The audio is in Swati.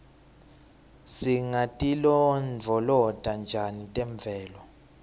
singatilondvolota njani temvelo